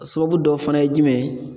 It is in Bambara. A sababu dɔ fana ye jumɛn ye